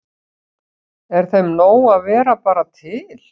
Er þeim nóg að vera bara til?